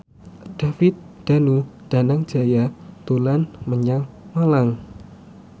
David Danu Danangjaya dolan menyang Malang